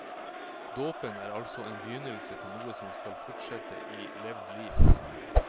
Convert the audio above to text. Dåpen er altså en begynnelse på noe som skal fortsette i levd liv.